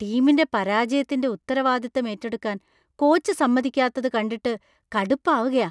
ടീമിന്‍റെ പരാജയത്തിന്‍റെ ഉത്തരവാദിത്തം ഏറ്റെടുക്കാൻ കോച്ച് സമ്മതിക്കാത്തത് കണ്ടിട്ട് കടുപ്പാവുകയാ.